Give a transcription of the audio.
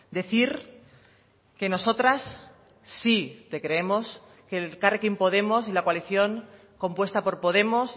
decir que nosotras sí te creemos que elkarrekin podemos y la coalición compuesta por podemos